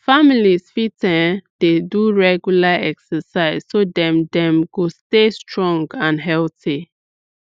families fit um dey do regular exercise so dem dem go stay strong and healthy